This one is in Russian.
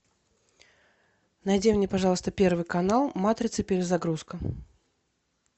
найди мне пожалуйста первый канал матрица перезагрузка